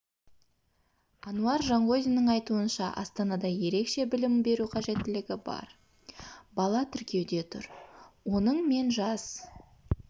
ануар жанғозинның айтуынша астанада ерекше білім беру қажеттілігі бар бала тіркеуде тұр оның мен жас